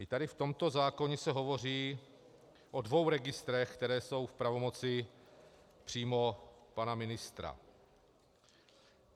I tady v tomto zákoně se hovoří o dvou registrech, které jsou v pravomoci přímo pana ministra.